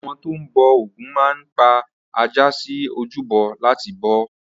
Àwọn tó ń bọ Ògún máa ń pa ajá sí ojúbọ láti bọ ọ́.